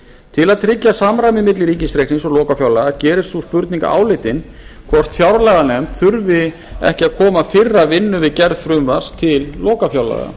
til að tryggja samræmi milli ríkisreiknings og lokafjárlaga gerist sú spurning áleitin hvort fjárlaganefnd þurfi ekki að koma fyrr að vinnu við gerð frumvarps til lokafjárlaga